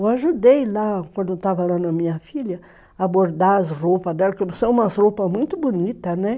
Eu ajudei lá, quando estava lá na minha filha, a bordar as roupas dela, porque são umas roupas muito bonitas, né?